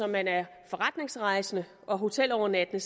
man er forretningsrejsende og hotelovernattende